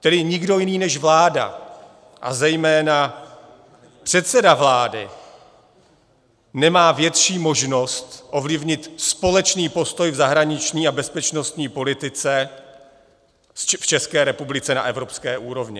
Tedy nikdo jiný než vláda, a zejména předseda vlády, nemá větší možnost ovlivnit společný postoj v zahraniční a bezpečnostní politice v České republice na evropské úrovni.